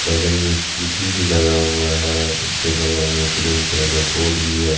बगल में स्कूटी भी लगा हुआ है उसके बगल में ग्रीन कलर का बोर्ड भी है।